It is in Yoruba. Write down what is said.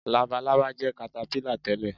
Labalábá jẹ́ katapílà tẹ̀lé